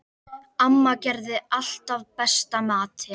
Amma gerði alltaf besta matinn.